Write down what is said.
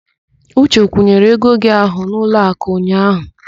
Uche kwụnyere ego gị ahụ n'ụlọakụ ụnyaahụ.